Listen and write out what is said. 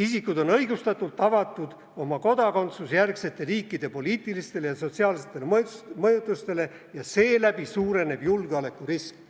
"isikud on õigustatult avatud oma kodakondsusjärgsete riikide poliitilistele ja sotsiaalsetele mõjutustele ja seeläbi suureneb julgeolekurisk".